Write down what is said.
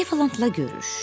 Eflantla görüş.